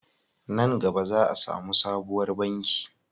Nan gaba za a samu sabuwar banki